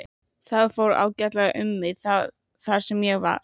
Það fór ágætlega um mig þar sem ég var.